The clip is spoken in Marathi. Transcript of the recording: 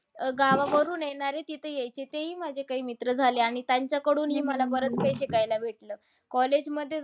अह गावावरून येणारे तिथे येयचे ते ही काही माझे मित्र झाले. आणि त्यांच्याकडूनही मला बरंच काही शिकायला भेटलं. College मध्ये जाऊन